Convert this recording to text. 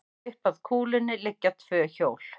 Upp að kúlunni liggja tvö hjól.